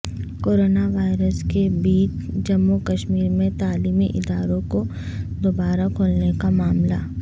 corona virus کے بیچ جموں کشمیر میں تعلیمی اداروں کو دوبارہ کھولنے کا معاملہ